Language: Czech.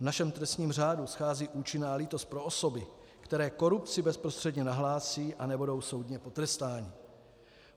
V našem trestním řádu schází účinná lítost pro osoby, které korupci bezprostředně nahlásí a nebudou soudně potrestány.